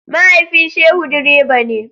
Mahaifin Shehu direba ne.